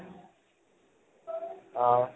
অহ